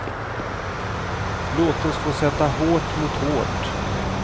Låt oss få sätta hårt mot hårt.